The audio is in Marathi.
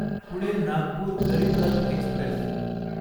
पुणे नागपूर गरीब रथ एक्स्प्रेस